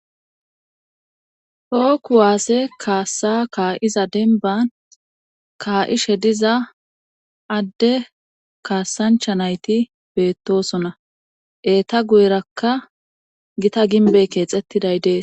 Tohookuwaase kaassa kaa7iza denban kaa7ishe diza adde kaassancha nayti beettosona eeta guyerakka gita ginbey keexettiday dees